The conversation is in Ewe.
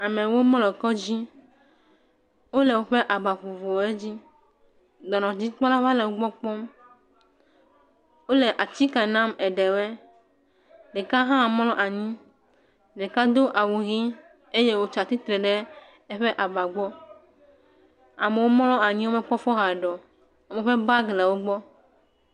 Amewo mlɔ kɔdzi. Wòle woƒe aba vovovowo dzi. Dɔnɔdzikpɔla va le wògbɔ kpɔm. Wole atike nam aɖewoe. Ɖeka hã mlɔ anyi. Ɖeka do awu ɣi eye wotsia tsitre ɖe eƒe aba gbɔ. Amewo mlɔ anyi. Wome kpɔ fɔ hã ɖe o. Woƒe bagi le wògbɔ.